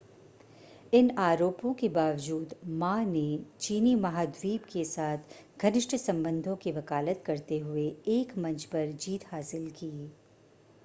इन आरोपों के बावजूद मा ने चीनी महाद्वीप के साथ घनिष्ठ संबंधों की वकालत करते हुए एक मंच पर जीत हासिल की